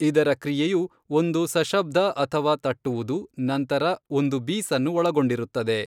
ಇದರ ಕ್ರಿಯೆಯು ಒಂದು ಸಶಬ್ದ ಅಥವಾ ತಟ್ಟುವುದು, ನಂತರ ಒಂದು ಬೀಸನ್ನು ಒಳಗೊಂಡಿರುತ್ತದೆ.